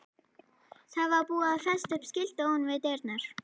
Það var búið að festa upp skilti ofan við dyrnar.